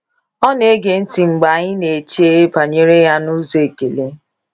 Ọ na - ege ntị mgbe anyị na - eche banyere ya n’ụzọ ekele.